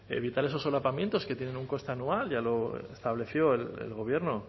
evitar esos solapamientos que tienen un coste anual ya lo estableció el gobierno